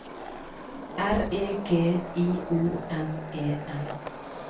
R E G I O N E N